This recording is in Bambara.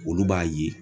Olu b'a ye